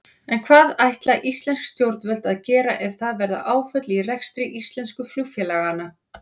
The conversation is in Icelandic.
En hvað ætla íslensk stjórnvöld að gera ef það verða áföll í rekstri íslensku flugfélaganna?